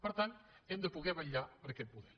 per tant hem de poder vetllar per aquest model